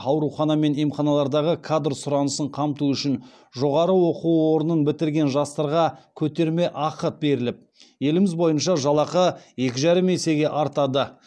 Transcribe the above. аурухана мен емханалардағы кадр сұранысын қамту үшін жоғары оқу орнын бітірген жастарға көтермеақы беріліп еліміз бойынша жалақы екі жарым есеге артады